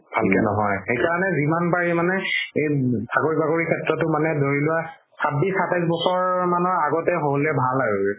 ভালকে নহয় সেইকাৰণে যিমান পাৰি মানে এ চাকৰি বাকৰি সেত্ৰও ধৰি লোৱা চাব্বিশ সাতাইশ বছৰ মানৰ আগতে হ'লে ভাল আৰু গে